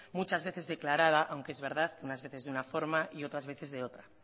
muchas veces declarada aunque es verdad unas veces de una forma y otras veces de otra